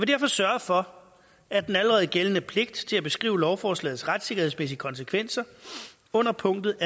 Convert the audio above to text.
derfor sørge for at den allerede gældende pligt til at beskrive lovforslagets retssikkerhedsmæssige konsekvenser under punktet